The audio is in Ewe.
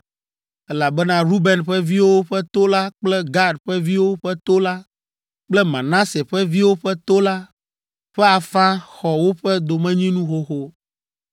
elabena Ruben ƒe viwo ƒe to la kple Gad ƒe viwo ƒe to la kple Manase ƒe viwo ƒe to la ƒe afã xɔ woƒe domenyinu xoxo.